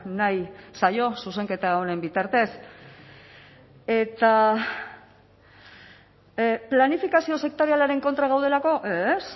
nahi zaio zuzenketa honen bitartez eta planifikazio sektorialaren kontra gaudelako ez